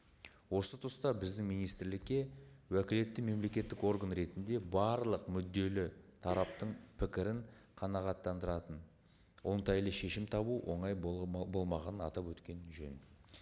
осы тұста біздің министрлікке уәкілетті мемлекеттік орган ретінде барлық мүдделі тараптың пікірін қанағаттандыратын оңтайлы шешім табу оңай болмағанын атап өткен жөн